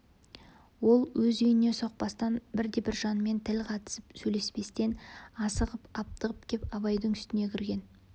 ол өз үйіне соқпастан бірде-бір жанмен тіл қатысып сөйлеспестен асығып аптығып кеп абайдың үстіне кірген